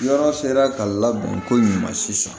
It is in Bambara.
Yɔrɔ sera ka labɛn ko ɲuman sisan